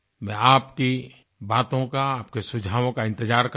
मैं आपकी बातों का आपके सुझावों का इंतजार करूँगा